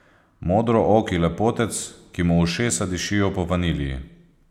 Modrooki lepotec, ki mu ušesa dišijo po vaniliji.